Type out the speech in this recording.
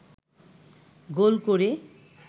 গোল করে